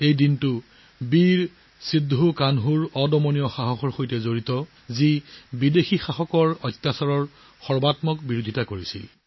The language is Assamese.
এই দিনটোৰ লগত জড়িত হৈ আছে বীৰ সিদ্ধ কানহুৰ অদম্য সাহস যিয়ে বিদেশী শাসকসকলৰ অত্যাচাৰৰ তীব্ৰ বিৰোধিতা কৰিছিল